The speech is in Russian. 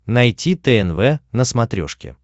найти тнв на смотрешке